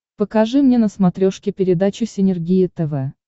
покажи мне на смотрешке передачу синергия тв